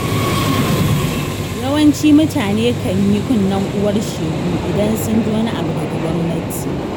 Yawancin mutane kan yi kunnen uwar shegu, idan sun ji wani abu daga gwamnati.